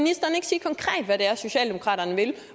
er socialdemokraterne vil